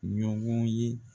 Ɲɔgɔn ye